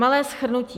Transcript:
Malé shrnutí.